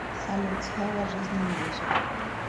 салют слово жизни мьюзик